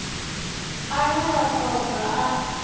ane vha ṱo ḓa a